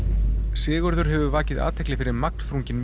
Sigurður hefur vakið athygli fyrir magnþrungin